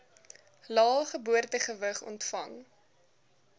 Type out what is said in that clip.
lae geboortegewig ontvang